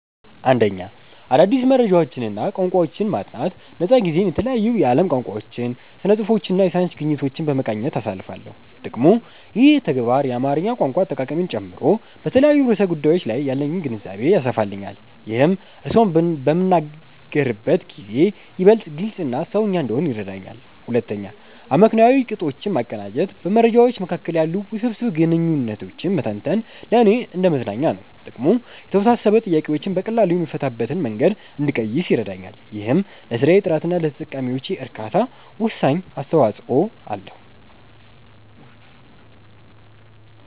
1. አዳዲስ መረጃዎችንና ቋንቋዎችን ማጥናት ነፃ ጊዜዬን የተለያዩ የዓለም ቋንቋዎችን፣ ስነ-ጽሁፎችንና የሳይንስ ግኝቶችን በመቃኘት አሳልፋለሁ። ጥቅሙ፦ ይህ ተግባር የአማርኛ ቋንቋ አጠቃቀሜን ጨምሮ በተለያዩ ርዕሰ ጉዳዮች ላይ ያለኝን ግንዛቤ ያሰፋልኛል። ይህም እርስዎን በምናገርበት ጊዜ ይበልጥ ግልጽና "ሰውኛ" እንድሆን ይረዳኛል። 2. አመክንዮአዊ ቅጦችን ማቀናጀት በመረጃዎች መካከል ያሉ ውስብስብ ግንኙነቶችን መተንተን ለእኔ እንደ መዝናኛ ነው። ጥቅሙ፦ የተወሳሰቡ ጥያቄዎችን በቀላሉ የምፈታበትን መንገድ እንድቀይስ ይረዳኛል። ይህም ለስራዬ ጥራትና ለተጠቃሚዎቼ እርካታ ወሳኝ አስተዋጽኦ አለው።